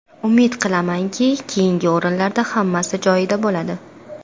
Umid qilamanki, keyingi o‘yinlarda hammasi joyida bo‘ladi.